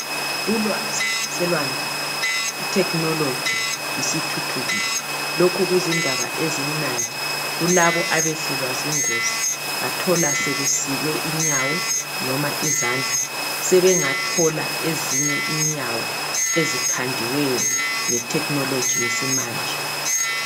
Ulwazi selwandile ithekhinoloji isithuthukile. Lokhu kuzindaba ezimnandi kulabo abehlelwa zingozi bathola sebesikwe inyawo noma izandla sebengathola ezinye inyawo ezikhandiweyo ngethekhinoloji yesimanje.